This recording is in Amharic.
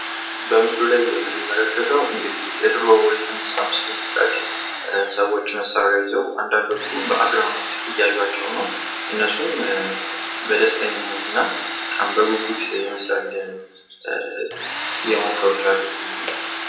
በምስሉ ላይ የምንመለከተው እንግዲህ የድሮ የተነሳ ምስል ይመስላል ፤ ሰዎች መሳሪያ ይዘው አንዳዶቹ በአግራሞት እያዩቸው ነው ፤ እነሱም ደስተኛ የሆኑ ይመስላሉ እየመኮሩት ያሉት።